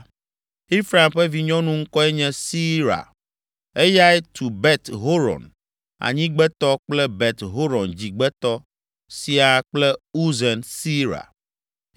Efraim ƒe vinyɔnu ŋkɔe nye Seera, eyae tu Bet Horon Anyigbetɔ kple Bet Horon Dzigbetɔ siaa kple Uzen Seera.